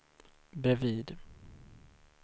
bredvid